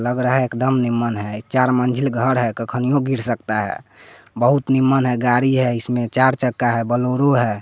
लग रहा है एकदम निमन है चार मंजिल घर है कखनियों गिर सकता है बहुत निमन है गाड़ी है इसमें चार चक्का है बलेरो है।